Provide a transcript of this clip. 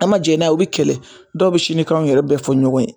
A ma jɛn n'a ye u bɛ kɛlɛ, dɔw bɛ sinikanw yɛrɛ bɛɛ fɔ ɲɔgɔn ye.